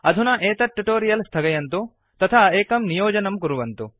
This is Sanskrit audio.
अधुना एतत् ट्युटोरियल् स्थगयन्तु तथा एकं नियोजनं कुर्वन्तु